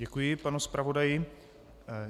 Děkuji panu zpravodaji.